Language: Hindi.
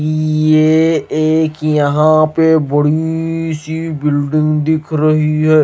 ये एक यहां पे बड़ी सी बिल्डिंग दिख रही है।